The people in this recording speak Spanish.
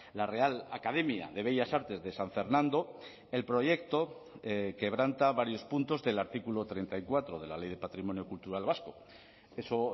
la real academia de bellas artes de san fernando el proyecto quebranta varios puntos del artículo treinta y cuatro de la ley de patrimonio cultural vasco eso